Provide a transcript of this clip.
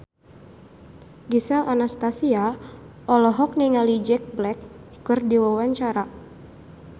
Gisel Anastasia olohok ningali Jack Black keur diwawancara